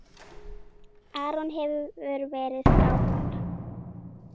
Aron hefur verið frábær.